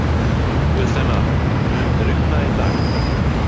Guðsteina, mun rigna í dag?